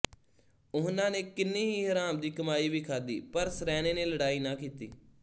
ਉਹਨਾਂ ਨੇ ਕਿੰਨੀ ਹੀ ਹਰਾਮ ਦੀ ਕਮਾਈ ਵੀ ਖਾਧੀ ਪਰ ਸਰੈਣੇ ਨੇ ਲੜਾਈ ਨਾ ਕੀਤੀ